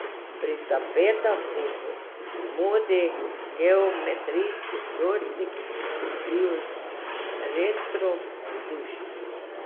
Pri tapetah so v modi geometrijski vzorci, ki poskrbijo za retro vzdušje.